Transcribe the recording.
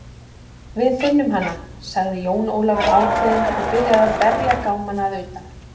Við finnum hana, sagði Jón Ólafur ákveðinn og byrjaði að berja gámana að utan.